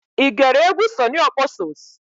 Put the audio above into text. I gere egwu Sunny Okposo's?